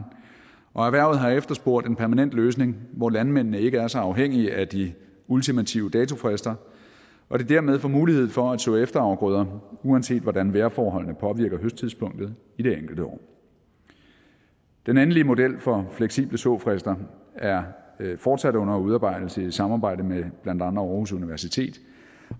og erhvervet har efterspurgt en permanent løsning hvor landmændene ikke er så afhængige af de ultimative datofrister og de dermed får mulighed for at så efterafgrøder uanset hvordan vejrforholdene påvirker høsttidspunktet i det enkelte år den endelige model for fleksible såfrister er fortsat under udarbejdelse i samarbejde med blandt andet aarhus universitet